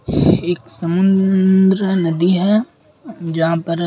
एक समुन्द्र नदी है जहाँ पर --